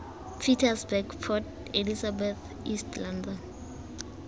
pietersburg port elizabeth east london